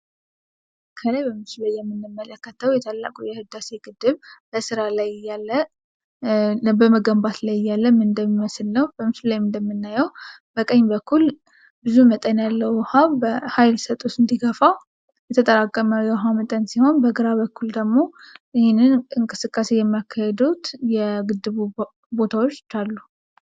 ከላይ በምስሉ ላይ የምንመለከተው የታላቁ የህዳሴ ግድብ በስራ ላይ እያለ በመገንባት ላይ እያለ ምን እንደሚመስል ነው። በምስሉ ላይም እንደምናየው፤ በቀኝ በኩል ብዙ መጠን ያለው ዉሃ ሃይል ሰጥቶት እንዲገፋው የተጠራከመ የዉሃ መጠን ሲሆን በግራ በኩል ደግሞ ይሄንን እንቅስቃሴ የሚያካሂዱት የግድቡ ቦታዎች አሉ።